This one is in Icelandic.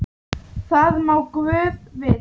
Það má guð vita.